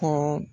Ko